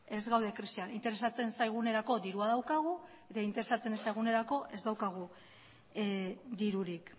ez gaude krisian interesatzen zaigunerako dirua daukagu eta interesatzen ez zaigunerako ez daukagu dirurik